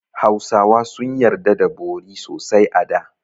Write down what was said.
Hausawa sun yarda da bori sosai a da.